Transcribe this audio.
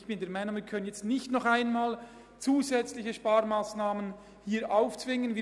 Ich bin der Meinung, dass wir dem Archäologischen Dienst nicht noch einmal zusätzliche Sparmassnahmen aufzwingen können.